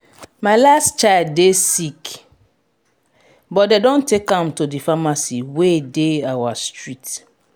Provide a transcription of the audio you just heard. my last child dey sick but dey don take am to the pharmacy wey dey our street